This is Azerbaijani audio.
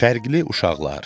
Fərqli uşaqlar.